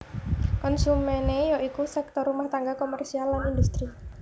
Konsumené ya iku sektor rumah tangga komersial lan industri